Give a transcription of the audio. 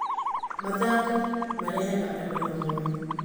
Mathako marehaga andũ hamwe.